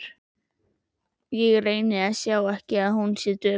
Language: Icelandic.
Ég reyni að sjá ekki að hún er döpur.